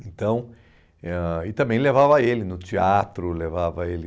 Então eh ãh e também levava ele no teatro, levava ele...